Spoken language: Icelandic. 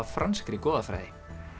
franskri goðafræði